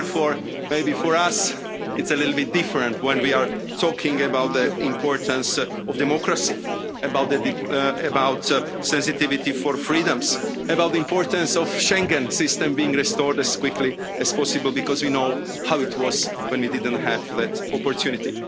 Therefore, maybe for us, it's a little bit different when we talk about the importance of democracy, about sensitivity for freedoms, about the importance of the Schengen system being restored as quickly as possible, because we know how it was when we didn't have that opportunity.